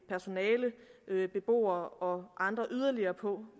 personale beboere og andre yderligere på